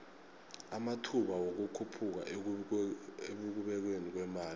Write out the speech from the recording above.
amathba wikukhuphuka ekubekweni kwemali